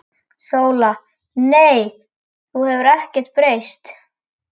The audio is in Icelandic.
SÓLA: Nei, þú hefur ekkert breyst.